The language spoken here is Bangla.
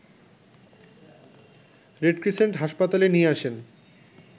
রেড ক্রিসেন্ট হাসপাতালে নিয়ে আসেন